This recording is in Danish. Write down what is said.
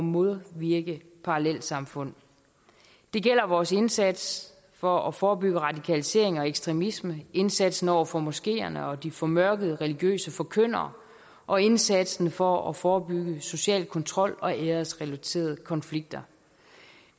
modvirke parallelsamfund det gælder vores indsats for at forebygge radikalisering og ekstremisme indsatsen over for moskeerne og de formørkede religiøse forkyndere og indsatsen for at forebygge social kontrol og æresrelaterede konflikter